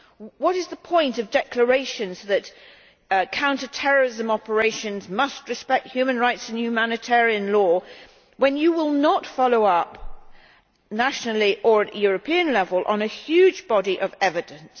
What is the point of declarations that counter terrorism operations must respect human rights and humanitarian law, when you will not follow up nationally or at European level on a huge body of evidence?